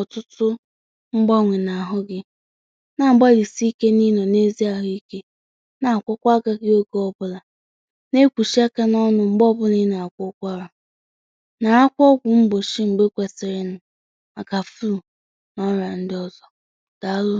ọtụtụ ihe, ọ bụ ezigbo àgwà ịgbalịsi ike n’inọ na-ezi ahụ ike. Na-akwọ akà gị oke ọbụla, na-ekwusi aka n’ọnụ mgbe ọbụla na-akwọcha arà. Na-akwọ mbọ mgbe ekwesịrị inụ maka flu. Ọ bụrụ na ọ nọ na ọzọ, dàalụ!